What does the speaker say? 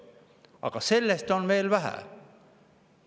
Aga sellest on veel vähe!